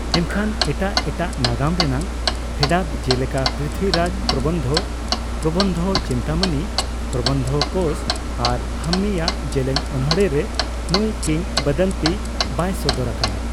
ᱮᱱᱠᱷᱟᱱ ᱮᱴᱟᱜ ᱮᱴᱟᱜ ᱱᱟᱜᱟᱢ ᱨᱮᱱᱟᱜ ᱯᱷᱮᱰᱟᱛ ᱡᱮᱞᱮᱠᱟ ᱯᱨᱤᱛᱷᱤᱨᱟᱡᱽᱼᱯᱨᱚᱵᱚᱱᱫᱷᱚ, ᱯᱨᱚᱵᱚᱱᱫᱷᱚᱼᱪᱤᱱᱛᱟᱢᱚᱱᱤ, ᱯᱨᱚᱵᱚᱱᱫᱷᱚᱼᱠᱳᱥ ᱟᱨ ᱦᱟᱢᱢᱤ ᱟᱜ ᱡᱮᱞᱮᱧ ᱚᱱᱚᱬᱦᱮ ᱨᱮ ᱱᱩᱭ ᱠᱤᱝᱵᱚᱫᱚᱱᱛᱤ ᱵᱟᱭ ᱥᱚᱫᱚᱨ ᱟᱠᱟᱱᱟ ᱾